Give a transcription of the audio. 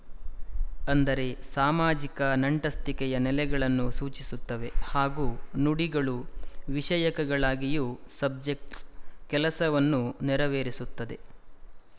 ಅಂದರೆ ಸಾಮಾಜಿಕ ನಂಟಸ್ತಿಕೆಯ ನೆಲೆಗಳನ್ನು ಸೂಚಿಸುತ್ತವೆ ಹಾಗೂ ನುಡಿಗಳು ವಿಶಯಕಗಳಾಗಿಯೂ ಸಬ್ಜೆಕ್ಟ್ಸ್ ಕೆಲಸವನ್ನು ನೆರವೇರಿಸುತ್ತದೆ